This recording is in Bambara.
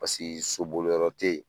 Pase so boliyɔrɔ te ye